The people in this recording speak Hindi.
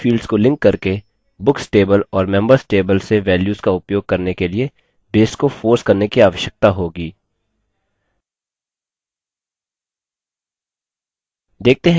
हमें सही fields को लिंक करके books table और members table से values का उपयोग करने के लिए base को force करने की आवश्यकता होगी